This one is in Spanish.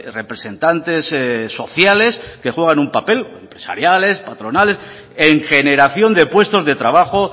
representantes sociales que juegan un papel empresariales patronales en generación de puestos de trabajo